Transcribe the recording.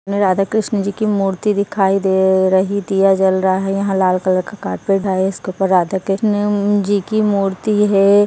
राधा-कृष्णाजी की मूर्ति दिखाई दे रही थी दिया जल रहा है यहा लाल कलर का कार्पेट है इसके ऊपर राधा-कृष्णा हम्म हम्म जी की मूर्ति है।